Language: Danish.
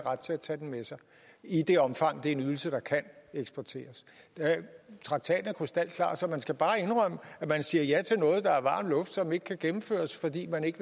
ret til at tage den med sig i det omfang det er en ydelse der kan eksporteres traktaten er krystalklar så man skal bare indrømme at man siger ja til noget der er varm luft som ikke kan gennemføres fordi man ikke